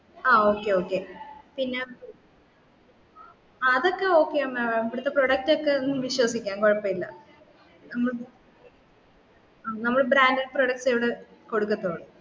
ആ okay okay പിന്ന അതൊക്കെ oka y ആ mam ഇവടത്തെ product ഒക്കെ വിശ്വസിക്കാം കുയപ്പയില്ലാ നമ്മൾ branded product ഏ ഇവിട കൊടുക്കത്തുള്ളൂ